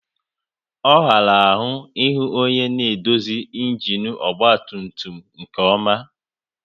Ọ ghara ahụ ihu onye ma edozi ịnginu ọgba tum tum nke ọma